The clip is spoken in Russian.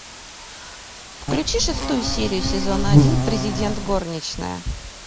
включи шестую серию сезона один президент горничная